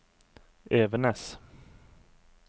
Evenes